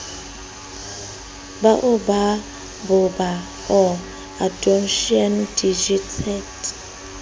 baobab baobab or adonsonia digitata